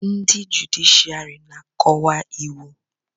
ndị jụdịshịàrị na-akọwa iwu